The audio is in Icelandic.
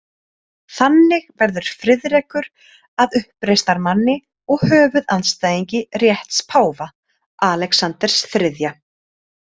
Þannig verður Friðrekur að uppreisnarmanni og höfuðandstæðingi rétts páfa, Alexanders þriðja.